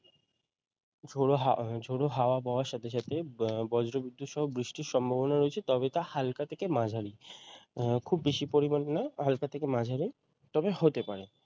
ঝোড়ো হাওয়া ঝোড়ো হাওয়া বওয়ার সাথে সাথে বজ্র বিদ্যুৎ সহ বৃষ্টির সম্ভাবনা রয়েছে তবে তা হালকা থেকে মাঝারী খুব বেশি পরিমাণে নয় হালকা থেকে মাঝারী তবে হতে পারে